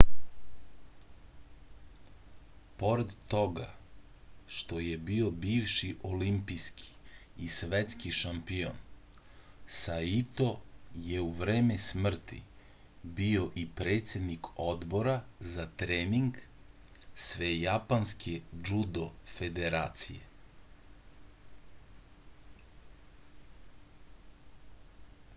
pored toga što je bio bivši olimpijski i svetski šampion saito je u vreme smrti bio i predsednik odbora za trening svejapanske džudo federacije